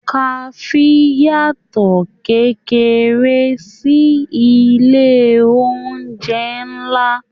Kafe yàtọ kékeré sí ilé oúnjẹ nlá.